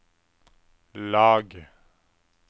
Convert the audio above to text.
lag